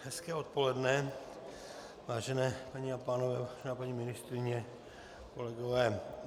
Hezké odpoledne, vážení paní a pánové, vážená paní ministryně, kolegové.